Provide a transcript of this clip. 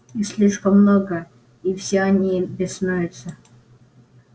их слишком много и все они беснуются